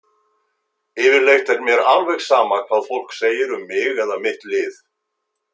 Yfirleitt er mér alveg sama hvað fólk segir um mig eða mitt lið.